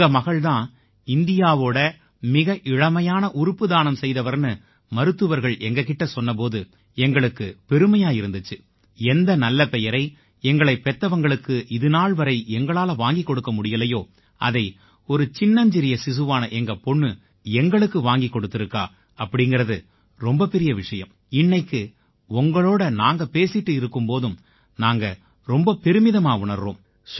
உங்க மகள் தான் இந்தியாவோட மிக இளமையான உறுப்பு தானம் செய்தவர்னு மருத்துவர்கள் எங்க கிட்ட சொன்ன போது எங்களுக்குப் பெருமையா இருந்திச்சு எந்த நல்ல பெயரை எங்களைப் பெத்தவங்களுக்கு இதுநாள் வரை எங்களால வாங்கிக் கொடுக்க முடியலையோ அதை ஒரு சின்னஞ்சிறிய சிசுவான எங்க பொண்ணு எங்களுக்கு வாங்கிக் கொடுத்திருக்கா அப்படீங்கறது ரொம்ப பெரிய விஷயம் இன்னைக்கு உங்களோட நாங்க பேசிட்டு இருக்கும் போதும் நாங்க ரொம்ப பெருமிதமா உணர்றோம்